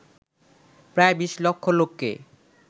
প্রায় বিশ লক্ষ লোককে